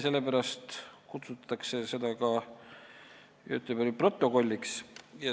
Sellepärast kutsutakse seda ka Göteborgi protokolliks.